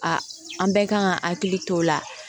A an bɛɛ kan ka hakili to o la